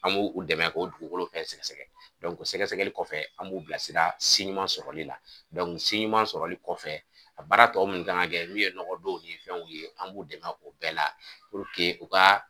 An b'u u dɛmɛ o dugukolo fɛnɛ sɛgɛsɛgɛ sɛgɛsɛgɛli kɔfɛ an b'u bilasira si ɲuman sɔrɔli la si ɲuman sɔrɔli kɔfɛ a baara tɔ minnu kan ka kɛ n'u ye nɔgɔdonw ni fɛnw ye an b'u dɛmɛ o bɛɛ la u ka